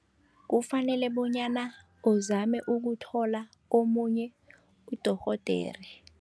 Kufanele bonyana uzame ukuthola omunye udorhodere.